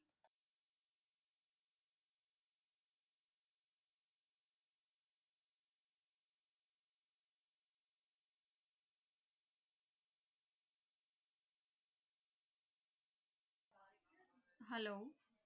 hello